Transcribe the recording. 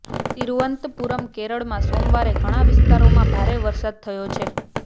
તિરુવનંતપુરમઃ કેરળમાં સોમવારે ઘણા વિસ્તારોમાં ભારે વરસાદ થયો છે